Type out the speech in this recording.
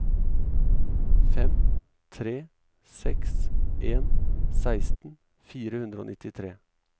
fem tre seks en seksten fire hundre og nittitre